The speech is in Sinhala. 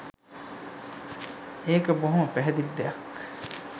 එක බොහොම පැහැදිලි දෙයක්